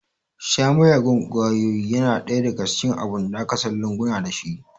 Sha miyagun ƙwayoyi yana ɗaya daga cikin abun da aka san lunguna dashi